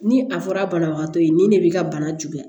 Ni a fɔra banabagatɔ ye nin ne b'i ka bana juguya